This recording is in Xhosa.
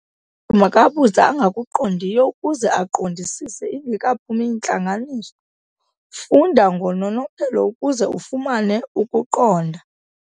makabuze angakuqondiyo ukuze aqondisise ingekaphumi intlanganiso. funda ngononophelo ukuze ufumane ukuqonda